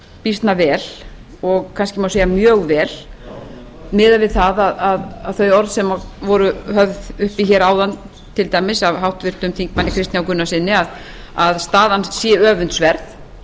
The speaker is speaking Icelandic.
býsna vel og kannski má segja mjög vel miðað við þau orð sem voru höfð uppi hér áðan til dæmis af háttvirtum þingmanni kristni h gunnarssyni að staðan sé öfundsverð